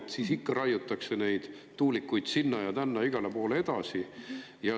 Ja siis raiutakse ikka neid tuulikuid edasi sinna ja tänna ja igale poole.